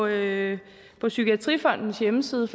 det på psykiatrifondens hjemmeside